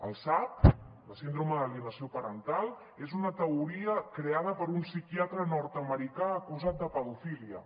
el sap la síndrome d’alienació parental és una teoria creada per un psiquiatre nordamericà acusat de pedofília